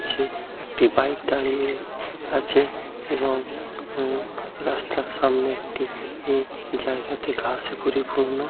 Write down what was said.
আছে একটি বাইক দাঁড়িয়ে আছে এবং ওম রাস্তার সামনে একটি এই জায়গাতে ঘাসে পরিপূরর্ণ ।